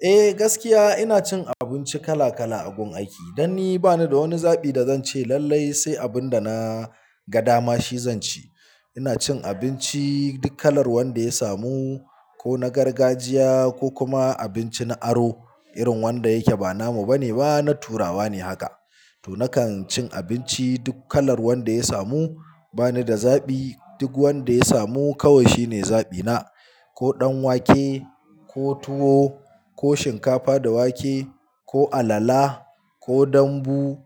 Eh gaskiya ina cin abinci kala kala a gun aiki. Dan ni, bani da wani zaɓi da zan ce lallai sai abun da na ga dama shi zan ci ina cin abinci duk kalar wanda ya samu, ko na gargajiya ko kuma abinci na aro irin wanda yake ba namu bane ba na turawa ne haka. To nakan cin abinci duk kalar wanda ya samu. Bani da zaɓi. Duk wanda ya samu kawai shine zaɓi na. Ko ɗan wake, ko tuwo, ko shinkafa da wake, ko alala, ko dambu,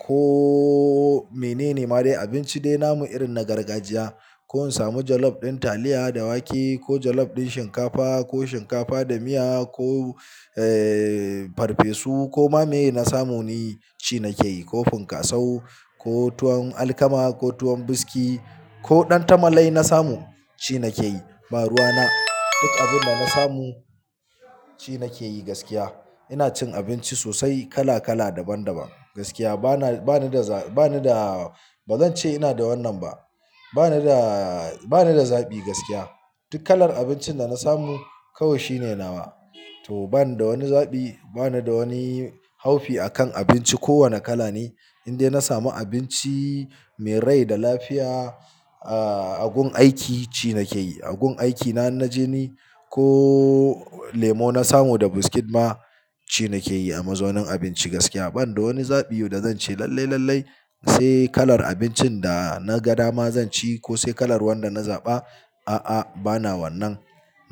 ko menene ma dai. Abinci dai namu irin na gargajiya. Ko in samu jollof din taliya da wake, ko jollof din shinkafa, ko shinkafa da miya, ko farfesu ko ma me na samu ni ci nake yi. Ko funkaso, ko tuwon alkama, ko tuwon buski, ko ɗan tamale na samu ci nake yi. Ba ruwa na. Duk abun da na samu ci nake yi gaskiya. Ina cin abinci sosai kala kala daban daban gaskiya. Bana, bani da za, ba ni da, ba zan ce ina da wannan ba. Bani da, banai da zaɓi gaskiya. Duk kalar abincin da na samu kawai shi ne nawa. To bani da wani zabi, bani da wani haufi akan abinci. Ko wane kala ne in dai na samu abinci mai rai da lafiya a gun aiki ci nake yi. A gun aiki na in naje ni, ko lemo na samu da biskit ma ci nake yi a mazaunin abinci gaskiya. Banda wani zabi'u da zan ce lallai lallai sai kalar abincin da na ga dama zan ci ko sai kalar wanda na zaba. A'a, bana wannan.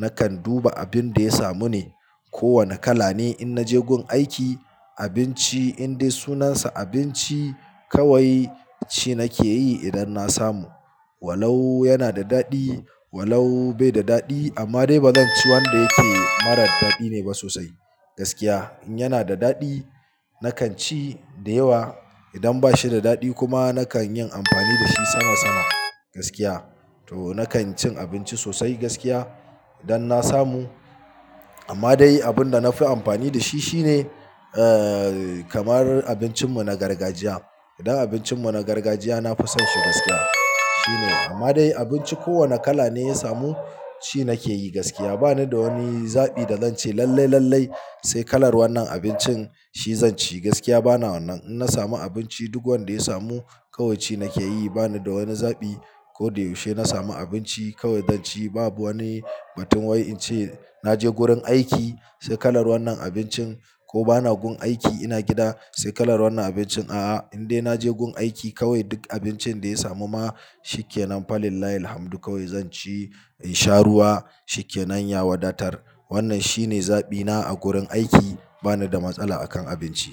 Nakan duba abun da ya samu ne. Ko wane kala ne in na je gun aiki, abinci in dai sunansa abinci kawai ci nake yi idan na samu. Walau yana da daɗi, walau bai da daɗi. Amma dai ba zan ci wanda yake mara daɗi ne ba sosai gaskiya. In yana da daɗi nakan ci da yawa. Idan bashi da daɗi kuma nakan yin amfani da shi sama sama gaskiya. To nakan cin abinci sosai gaskiya idan na samu. Amma dai abin da na fi amfani da shi, shine kamar abincin mu na gargajiya. Idan abincin mu na gargajiya na fi son shi gaskiya. Shi ne. Amma dai abinci ko wane kala ne ya samu ci nake yi gaskiya. Bani da wani zabi da zan ce lallai lallai sai kalar wannan abincin shi zan ci gaskiya. Bana wannan. In na samu abinci duk wanda ya samu kawai ci nake yi. Bani da wani zabi. Ko da yaushe na samu abinci kawai zan ci. Babu wani batun wai in ce na je gurin aiki sai kalar wannan abincin ko bana gun aiki ina gida sai kalar wannan abincin. A'a, in dai naje gun aiki kawai duk abincin da ya samu ma shikenan falillahi hamdu kawai zan ci in sha ruwa shi ke nan ya wadatar. Wannan shine zaɓi na a gurin aiki. Bani da matsala akan abinci.